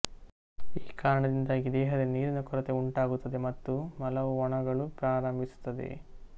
ಈ ಕಾರಣದಿಂದಾಗಿ ದೇಹದಲ್ಲಿ ನೀರಿನ ಕೊರತೆ ಉಂಟಾಗುತ್ತದೆ ಮತ್ತು ಮಲವು ಒಣಗಲು ಪ್ರಾರಂಭಿಸುತ್ತದೆ